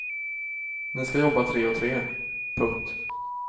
Ni ska jobba tre och tre. punkt